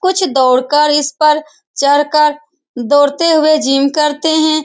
कुछ दौड़कर इस पर चढ़कर दौड़ते हुए जिम करते हैं।